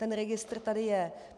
Ten registr tady je.